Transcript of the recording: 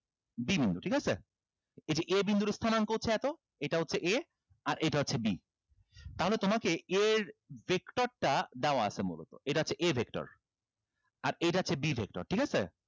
b বিন্দু ঠিক আছে এটি a বিন্দুর স্থানাঙ্ক হচ্ছে এতো এটা হচ্ছে a আর এটা হচ্ছে b তাহলে তোমাকে এর vector টা দেওয়া আছে মূলত এটা হচ্ছে a vector আর এটা হচ্ছে b vector ঠিক আছে